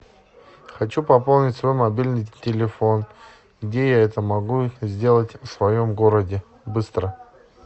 хочу пополнить свой мобильный телефон где я это могу сделать в своем городе быстро